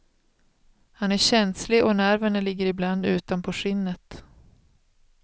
Han är känslig och nerverna ligger i bland utanpå skinnet.